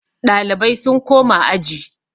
Ɗalibai sun koma aji